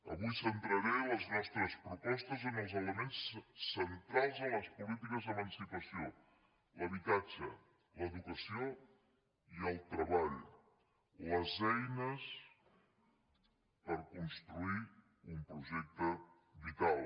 avui centraré les nostres propostes en els elements centrals de les polítiques d’emancipació l’habitatge l’educació i el treball les eines per construir un projecte vital